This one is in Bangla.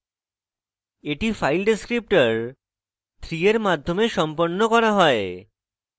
এটি file descriptor 3 এর মাধ্যমে সম্পন্ন করা হয়